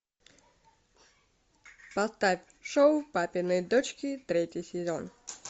поставь шоу папины дочки третий сезон